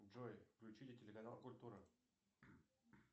джой включите телеканал культура